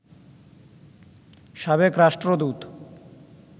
সাবেক রাষ্ট্রদূত